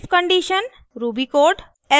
if condition ruby code